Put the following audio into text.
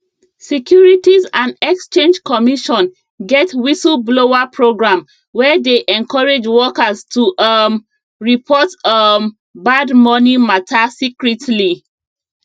securities and exchange commission get whistleblower program wey dey encourage workers to um report um bad money matter secretly